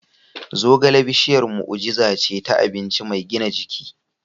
Zogale bishiyar mu'ujiza ce ta abinci mai gina jiki.